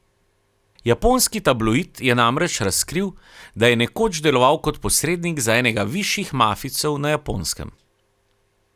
Japonski tabloid je namreč razkril, da je nekoč deloval kot posrednik za enega višjih mafijcev na Japonskem.